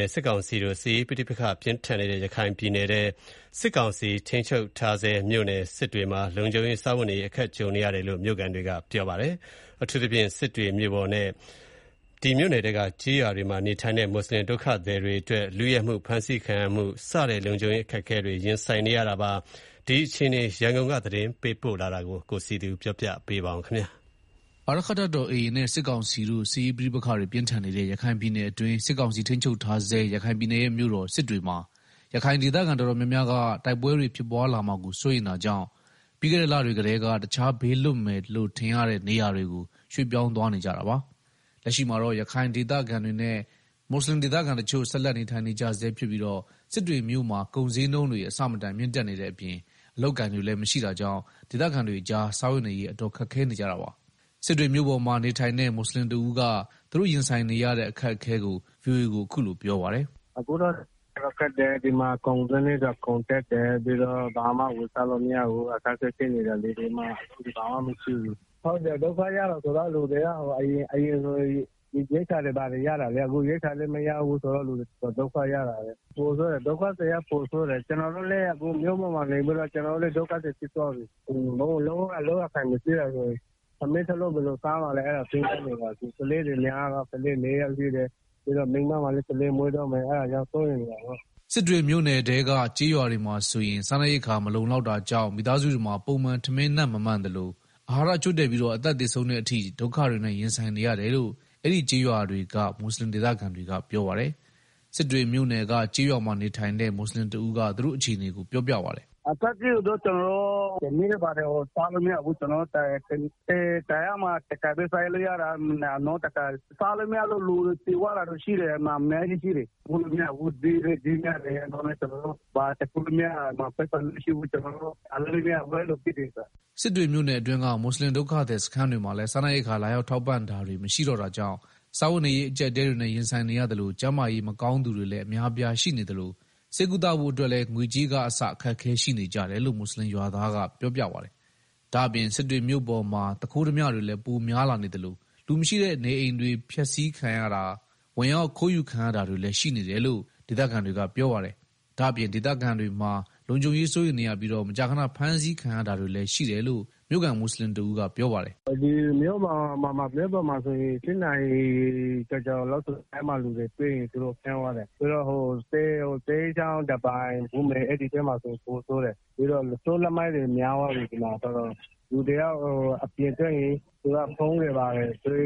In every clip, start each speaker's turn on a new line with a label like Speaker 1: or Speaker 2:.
Speaker 1: နဲ့ စစ်ကောင်စီတို့ စစ်ရေးပဋိပက္ခတွေပြင်းထန်နေတဲ့ ရခိုင်ပြည်နယ်တွင်း စစ်ကောင်စီထိန်းချုပ်ထားဆဲမြို့နယ် စစ်တွေမှာ လုံခြုံရေး၊ စားဝတ်နေရေး အခက်ကြုံနေရတယ်လို့ မြို့ခံတွေက ပြောပါတယ်။ အထူးသဖြင့် စစ်တွေမြို့ပေါ်နဲ့ စစ်တွေ မြို့နယ်က ကျေးရွာတွေမှာ နေထိုင်တဲ့ မူဆလင်ဒုက္ခသည်တွေတွေအတွက် လုယက်မှု ဖမ်းဆီးခံရမှုစတဲ့ လုံခြုံရေး အခက်အခဲတွေနဲ့ ရင်ဆိုင်နေကြရတာပါ။ ရခိုင်ပြည်နယ် စစ်ရေးတင်းမာမှု အခြေအနေနဲ့ ပတ်သက်လို့ ရန်ကုန်က သတင်းပေးပို့ထားတာကို တင်ပြထားပါတယ်။
Speaker 2: အာရက္ခတပ်တော် AA နဲ့ စစ်ကောင်စီတို့ စစ်ရေးပဋိပက္ခတွေပြင်းထန်နေတဲ့ ရခိုင်ပြည်နယ်အတွင်း စစ်ကောင်စီ ထိန်းချုပ်ထားဆဲ ရခိုင်ပြည်နယ်ရဲ့ မြို့တော်စစ်တွေမှာ ရခိုင်ဒေသခံ တော်တော်များများက တိုက်ပွဲတွေ ဖြစ်ပွားလာမှာကို စိုးရိမ်တာကြောင့် ပြီးခဲ့လတွေကတည်းက တခြားဘေးလွတ်မယ်လို့ထင်ရတဲ့ နေရာတွေကို ရွှေ့ပြောင်း သွားကြတာပါ။ လက်ရှိမှာတော့ ရခိုင်ဒေသခံတွေနဲ့ မူဆလင်တချို့ ဆက်လက်နေထိုင်နေကြဆဲဖြစ်ပြီး စစ်တွေမြို့မှာ ကုန်ဈေးနှုန်းတွေ အဆမတန်မြင့်တက်နေတဲ့အပြင် အလုပ်အကိုင်တွေလည်း မရှိတာကြောင့် ဒေသခံတွေကြား စားဝတ်နေရေး အတော်ခက်ခဲနေ ကြတာပါ။ စစ်တွေမြို့ပေါ်မှာနေထိုင်တဲ့ မွတ်ဆလင်တဦးက သူတို့ရင်ဆိုင်နေရတဲ့အခက်အခဲ ဗွီအိုအေကို အခုလိုပြောပါတယ်။
Speaker 1: “ ဒီမှာကုန်ဈေးတွေလည်းတက်တယ်၊ ဘာမှလည်း ဝယ်စားလို့မရဘူး အခက်အဲဖြစ်နေတယ်၊ဒုက္ခရောက်တယ်ဆိုတာ အရင်က လူတွေက ရိက္ခာတွေဘာတွေ ရတယ်လေ အခု ရိက္ခာလည်းမရဘူးဆိုတော့ လူတွေ ဒုက္ခရောက်တာပေါ။ ဒုက္ခသည်တွေက ပိုဆိုးတယ်၊ကျတော်တို့လည်း အခု မြို့ပေါ်မှာနေပြီးတော့ ကျနော်တို့လည်း ဒုက္ခသည်ဖြစ်သွားပြီ၊အလုပ်ကိုင်လည်း မရှိတော့ ထမင်းတလုပ် ဘယ်လိုစားမှာလဲ အဲ့တာ စဉ်းစားနေတာ ကလေးတွေလည်း များတော့ ကလေး ၄ယောက်ရှိတယ်။ပြီးတော့ မိန်းမကလည်း ကလေးမွေးတော့မယ် အဲတာကြောင့် စိုးရိမ်နေတာ။
Speaker 2: ” စစ်တွေမြို့နယ်ထဲက ကျေးရွာတွေမှာဆိုရင်စားနပ်ရိက္ခာ မလုံလောက်တာကြောင့် မိသားစုတွေမှာ ပုံမှန် ထမင်းနပ်မမှန်သလို အာဟာရချို့တဲ့ပြီး အသက်သေဆုံးတဲ့အထိ ဒုက္ခတွေနဲ့ရင်ဆိုင်နေရတယ်လို့ အဲ့ဒီ့ကျေးရွာတွေက မူဆလင်ဒေသခံတွေက ပြောပါတယ်။ စစ်တွေမြို့ နယ်က ကျေးရွာမှာနေထိုင်တဲ့ မွတ်ဆလင်တဦးက သူတို့အခြေအနေပြောပြပါတယ်။
Speaker 1: “ အခက်အခဲကတော့ ကျနော်တို့ ထမင်းဝအောင်စားလို့မရဘူး တနေ့မှာ တထပ်ပဲစား ရတာ။နောက်တခါ ဝအောင်မစားရလို့ လူတွေ သေသွားတာလည်းရှိတယ်။ ဈေးလည်း ကြီးတယ်၊ ပိုက်ဆံလည်းမရှိဘူး။ အလုပ်လည်းမရှိဘူး။အဲလို ဖြစ်နေတယ်။
Speaker 2: ” စစ်တွေမြို့နယ်အတွင်းက မူဆလင်ဒုက္ခသည်စခန်းတွေမှာလည်း စားနပ်ရိက္ခာ လာရောက်ထောက်ပံ့တာတွေမရှိတော့တာကြောင့် စားဝတ်နေရေးအကျပ်အတည်းတွေနဲ့ရင်ဆိုင်နေရသလို ကျန်းမာရေးမကောင်းသူတွေလည်း အများအပြား ရှိနေသလို ဆေးကုသဖို့ အတွက်လည်း ငွေကြေးကအစ အခက်အခဲရှိနေကြတယ်လို့ မူဆလင်ရွာသားက ပြောပြပါတယ်။ ဒါ့အပြင် စစ်တွေမြို့ပေါ်မှာ သူခိုးဓားမြတွေလည်းပိုများလာနေသလို လူမရှိတဲ့ နေအိမ်တွေ ပျက်စီးခံရတာ ဝင်ရောက်ခိုးယူခံရတာတွေလည်းရှိနေတယ်လို့ ဒေသခံတွေက ပြောပါတယ်။ ဒါ့အပြင် ဒေသခံတွေမှာ လုံခြုံရေး စိုးရိမ်ရပြီး မကြာခဏ ဖမ်းဆီးခံရတာတွေလည်း ရှိတယ်လို့ မြို့ခံမူဆလင်တဦး ကပြော ပါတယ်
Speaker 1: ။ “ ၈နာရီကျော် လမ်းမှာလူတွေ တွေ့ရင် သူတို့ ဖမ်းသွားတယ်၊ ပြီးတော့ သဲချောင်း ဒါးပိုင် ဘုမေ အဲဒီဘက်မှာ ပိုဆိုးတယ်၊ ပြီးတော့ လူဆိုး လူမိုက်တွေ များသွားပြီဒီမှာ တော်တော်။ လူတယောက်အပြင်ထွက်ရင် သူတို့ဖုန်းတွေဘာတွေ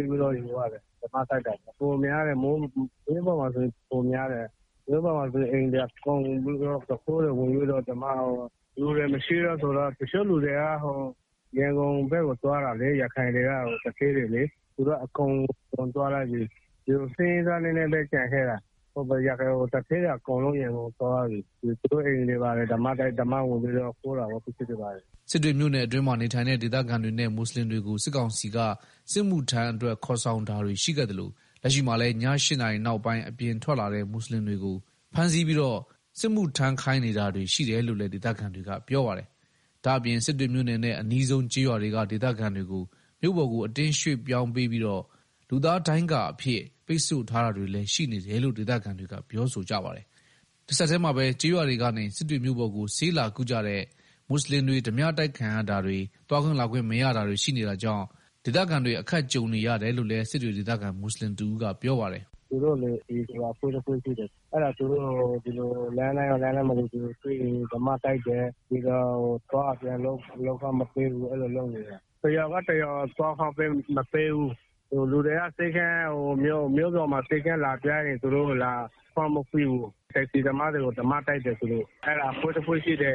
Speaker 1: ကို လုယူသွားတယ်၊ မြို့ပေါ်မှာ ပိုများတယ်။ မြို့ပေါ်မှာ အိမ်တွေ အကုန်လုံးကို သူခိုးတွေ ဝင်တွေ လူတွေလည်းမရှိတော့လေ တချို့ ရခိုင်သူဌေးတွေက ရန်ကုန်ဘက်ကို သွားတာလေ၊ သူတို့က အကုန်သွားကြတော့ ဆင်းရဲသား နည်းနည်းပဲ ကျန်ခဲ့တာ သူဌေးတွေ အကုန်ရန်ကုန်ကို သွားကြတာ၊ဆိုတော့ သူတို့ အိမ်တွေကို သူခိုးတွေ ဝင်ပြီးတော့ ပစ
Speaker 2: ္စည်းတွေ ခိုးကြတယ်။” စစ်တွေမြို့နယ်အတွင်းမှာ နေထိုင်တဲ့ ဒေသခံတွေနဲ့ မူဆလင်တွေကို စစ်ကောင်စီက စစ်မှုထမ်းအတွက် ခေါ်ဆောင်တာတွေ ရှိခဲ့သလို လက်ရှိမှာလည်း ည၈နာရီနောက်ပိုင်း အပြင်ထွက်လာတဲ့ မူဆလင် တွေကို ဖမ်းဆီးပြီး စစ်မှုထမ်းခိုင်းနေတာတွေရှိတယ်လို့လည်း ဒေသခံတွေ ကပြောပါ တယ်။ ဒါ့အပြင်စစ်တွေမြို့နယ်နဲ့ အနီးဆုံး ကျေးရွာတွေက ဒေသခံတွေကို မြို့ပေါ်ကို အတင်းရွှေ့ ပြောင်းပြီးတော့ လူသားဒိုင်းကာ အဖြစ် ပိတ်ဆို့ထားတာတွေလည်းရှိနေတယ်လို့ ဒေသခံတွေကပြောဆိုကြပါတယ်။ တဆက်တည်းမှာပဲ ကျေးရွာတွေကနေ စစ်တွေမြို့ပေါ်ကို ဆေးလာကုတဲ့ မူဆလင်တွေ ဓားပြတိုက်ခံရတာတွေ သွားခွင့်လာခွင့်မရတာတွေရှိနေတာကြောင့် ဒေသခံတွေ အခက်ကြုံနေရတယ်လို့လည်း စစ်တွေ ဒေသခံ မူဆလင်တဦးကပြောပါတယ်
Speaker 1: ။ “ALPဆိုပြီးတော့ အဖွဲ့တခုရှိတယ်။ သူတို့က လမ်းတိုင်းမှာတွေ့ရင် ဓားပြတိုက်တယ်၊ ပြီးတော့ အသွားအပြန် လုပ်ခွင့်မပေးဘူး၊ အဲလိုလုပ်နေတယ်။ တရွာကနေ တရွာကို သွားခွင့်မပေးဘူး၊ လူတွေက မြို့ပေါ်ကို ဆေးခန်းလာပြရင် သူတို့ကို လာခွင့်မပေးဘူး၊ တက္ကစီသမားတွေကို ဓားပြတိုက်တယ်၊ ဓားပြတိုက်သလိုပေါ့ ALPအဖွဲ့လုပ်တာ။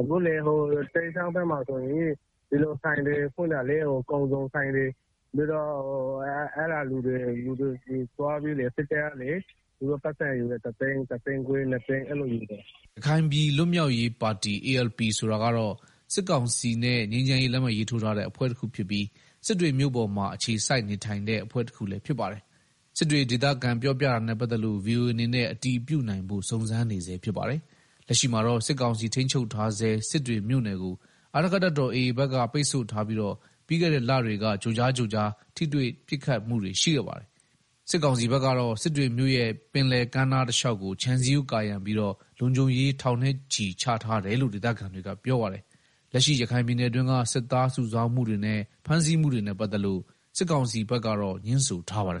Speaker 1: အခု သဲချောင်းဘက်မှာ ဆိုရင် ဒီလို ဆိုင်တွေ ဖွင့်တာလေ ကုန်စုံဆိုင်တွေ အဲလူတွေဆီကို သွားပြီးတော့ စစ်တပ်ကလည်း ပိုက်ဆံ ယူတယ် သူတို့ တသိန်း တသိန်းခွဲ နှစ်သိန်း အဲလို ယူတယ်။
Speaker 2: ” ရခိုင်ပြည်လွတ်မြောက်ရေးပါတီ ဆိုတာကတော့ စစ်ကောင်စီနဲ့ ငြိမ်းချမ်းရေး လက်မှတ်ရေးထိုးထားတဲ့ အဖွဲ့တခုဖြစ်ပြီး စစ်တွေမြို့ပေါ်မှာ အခြေစိုက်နေထိုင်တဲ့ အဖွဲ့တခုလည်းဖြစ်ပါတယ်။ စစ်တွေဒေသခံပြောပြတာနဲ့ပတ်သက်လို့ ဗွီအိုအေအနေနဲ့ အတည်ပြုနိုင်ဖို့ စုံစမ်းနေဆဲဖြစ်ပါတယ်။ လက်ရှိမှာတော့ စစ်ကောင်စီထိန်းချုပ်ထားဆဲ စစ်တွေမြို့နယ်ကို အာရက္ခတပ်တော်AAဘက်က ပိတ်ဆို့ထားပြီး ပြီးခဲ့တဲ့ လတွေက ကြိုကြား ကြိုကြားထိတွေ့ ပစ်ခတ်မှုတွေရှိခဲ့ပါတယ်။ စစ်ကောင်စီဘက်ကတော့ စစ်တွေမြို့ရဲ့ ပင်လယ်ကမ်းနားတလျှောက်ကို ခြံစည်းရိုး ကာရံပြီးတော့ လုံခြုံရေး ထောင်နဲ့ချီ ချထားတယ်လို့ ဒေသခံတွေကပြောပါတယ်။ လက်ရှိ ရခိုင်ပြည်နယ်တွင်းက စစ်သားစုဆောင်းမှုတွေနဲ့ ဖမ်းဆီးမှုတွေနဲ့ ပတ်သက်လို့ စစ်ကောင်စီဘက်ကတော့ ငြင်းဆိုထားပါတယ်